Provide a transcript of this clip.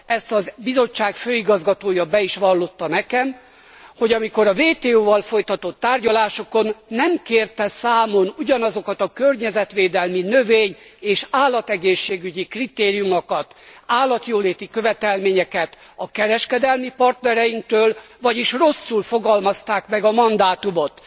Ezt a Bizottság főigazgatója be is vallotta nekem, hogy amikor a WTO val folytatott tárgyalásokon nem kérte számon ugyanazokat a környezetvédelmi, növény és állat egészségügyi kritériumokat, állatjóléti követelményeket a kereskedelmi partnereinktől, vagyis rosszul fogalmazták meg a mandátumot.